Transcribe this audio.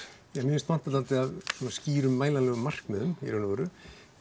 mér finnst vanta svolítið af skýrum mælanlegum markmiðum í raun og veru